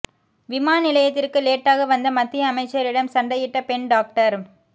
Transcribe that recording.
விமான நிலையத்திற்கு லேட்டாக வந்த மத்திய அமைச்சரிடம் சண்டையிட்ட பெண் டாக்டர்